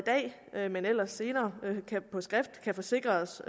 dag men ellers senere på skrift kan forsikre os